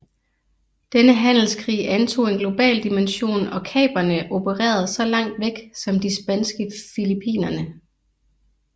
Denne handelskrig antog en global dimension og kaperne opererede så langt væk som de spanske Filippinerne